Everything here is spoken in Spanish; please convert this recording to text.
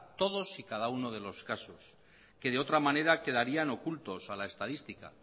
todos y cada uno de los casos que de otra manera quedarían ocultos a la estadística